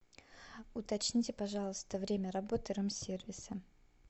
уточните пожалуйста время работы рум сервиса